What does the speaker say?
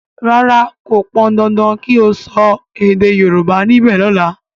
ràrá kò pọn dandan kí o so èdè yorùbá nibe lola!